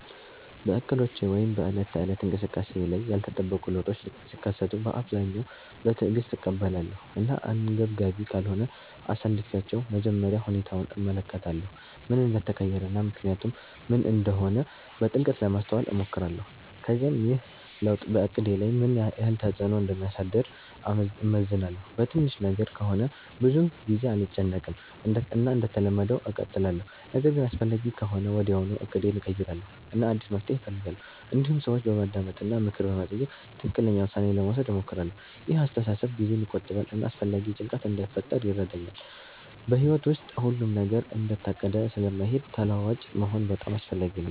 በእቅዶቼ ወይም በዕለት ተዕለት እንቅስቃሴዬ ላይ ያልተጠበቁ ለውጦች ሲከሰቱ በአብዛኛው በትዕግስት እቀበላለሁ እና አንገብጋቢ ካልሆነ አሳልፊቻለሁ መጀመሪያ ሁኔታውን እመለከታለሁ ምን እንደተቀየረ እና ምክንያቱ ምን እንደሆነ በጥልቀት ለማስተዋል እሞክራለሁ ከዚያም ይህ ለውጥ በእቅዴ ላይ ምን ያህል ተፅዕኖ እንደሚያሳድር እመዝናለሁ በትንሽ ነገር ከሆነ ብዙ ጊዜ አልጨነቅም እና እንደተለመደው እቀጥላለሁ ነገር ግን አስፈላጊ ከሆነ ወዲያውኑ እቅዴን እቀይራለሁ እና አዲስ መፍትሔ እፈልጋለሁ እንዲሁም ሰዎችን በማዳመጥ እና ምክር በመጠየቅ ትክክለኛ ውሳኔ ለመውሰድ እሞክራለሁ ይህ አስተሳሰብ ጊዜን ይቆጥባል እና አላስፈላጊ ጭንቀት እንዳይፈጥር ይረዳኛል በሕይወት ውስጥ ሁሉም ነገር እንደታቀደ ስለማይሄድ ተለዋዋጭ መሆን በጣም አስፈላጊ ነው